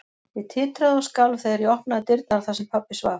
Ég titraði og skalf þegar ég opnaði dyrnar þar sem pabbi svaf.